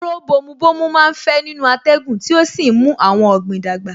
Kóró bomu bomu má ń fẹ́ nínú atẹ́gùn tí ó sì ń mú àwọn ọ̀gbìn dàgbà